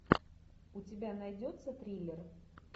у тебя найдется триллер